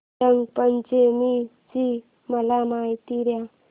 रंग पंचमी ची मला माहिती दे